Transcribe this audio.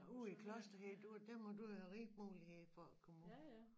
Ud i Klosterheden der må du jo have rig mulighd for at komme ud